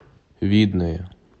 видное